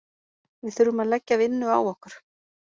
Við þurfum að leggja vinnu á okkur.